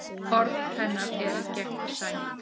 Orð hennar eru gegnsæ.